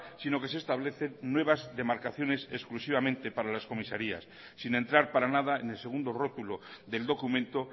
sino que se establece nuevas demarcaciones exclusivamente para las comisarias sin entrar para nada en el segundo rotulo del documento